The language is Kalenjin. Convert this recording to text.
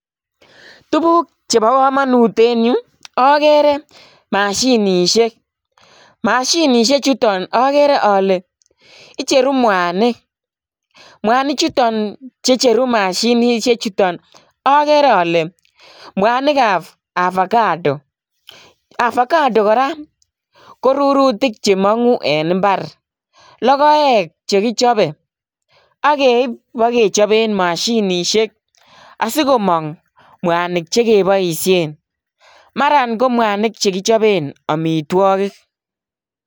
Tuguuk che bo kamanut en Yu agere mashinisheek, mashinisheek chutoon agere ale icheruu mwanig ,mwanig chutoon che cheruuh mashinisheek agere ale mwanig ab ovacado, avocado kora rurutiik che manguu en mbar logoek che kichapeen ageib iba kechapeen mashinisheek asikomaang mwanig che kebaisheen maran ko mwanig kechapeen amitwagiik.